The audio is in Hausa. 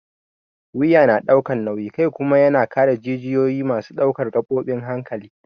Wuya yana ɗaukan nauyin kai kuma yana kare jijiyoyi masu ɗaukar gabobin hankali.